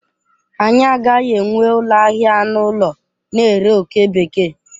Anyị agaghị enwe ụlọ ahịa anụ ụlọ na-ere oke bekee.